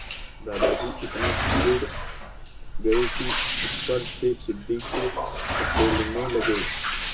दादाजी इतना चिढ़ गए कि ऊपर से सीढ़ी को धकेलने लगे